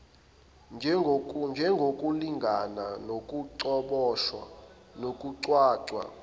njengokulingana nokucoboshiswa kokucwaswa